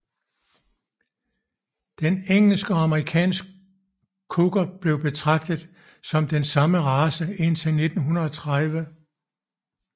Den engelsk og amerikansk Cocker blev betragtet som den samme race indtil 1930